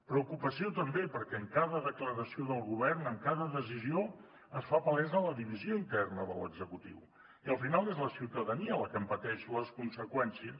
preocupació també perquè en cada declaració del govern en cada decisió es fa palesa la divisió interna de l’executiu i al final és la ciutadania la que en pateix les conseqüències